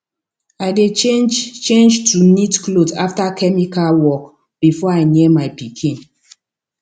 i dey change change to neat cloth after chemical work before i near my pikin